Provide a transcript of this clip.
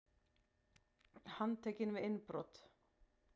Handtekinn við innbrot